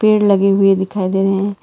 पेड़ लगे हुए दिखाई दे रहे हैं।